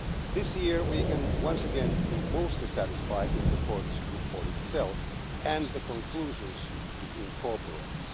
This year we can once again be mostly satisfied with the Court's report itself and the conclusions it incorporates.